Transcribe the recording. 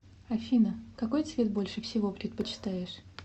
афина какой цвет больше всего предпочитаешь